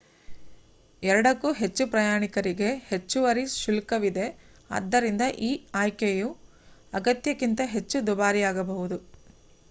2 ಕ್ಕೂ ಹೆಚ್ಚು ಪ್ರಯಾಣಿಕರಿಗೆ ಹೆಚ್ಚುವರಿ ಶುಲ್ಕವಿದೆ ಆದ್ದರಿಂದ ಈ ಆಯ್ಕೆಯು ಅಗತ್ಯಕ್ಕಿಂತ ಹೆಚ್ಚು ದುಬಾರಿಯಾಗಬಹುದು